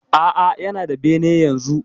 Aa, Yana da bene yanzu.